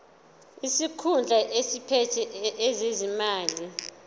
isikhulu esiphethe ezezimali